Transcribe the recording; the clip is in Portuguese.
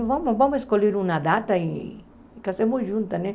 Vamos, vamos escolher uma data e casamos juntas, né?